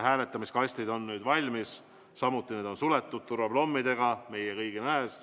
Hääletamiskastid on nüüd valmis, need on meie kõigi nähes turvaplommidega suletud.